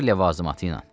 Hər ləvazımatı ilə.